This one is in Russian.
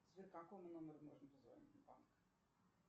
сбер какому номеру можно позвонить в банк